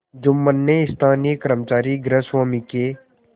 जुम्मन ने स्थानीय कर्मचारीगृहस्वामीके